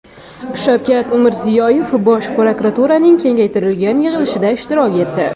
Shavkat Mirziyoyev Bosh prokuraturaning kengaytirilgan yig‘ilishida ishtirok etdi.